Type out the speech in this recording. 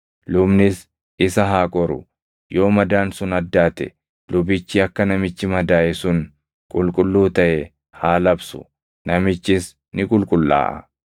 Lubnis isa haa qoru; yoo madaan sun addaate lubichi akka namichi madaaʼe sun qulqulluu taʼe haa labsu; namichis ni qulqullaaʼa.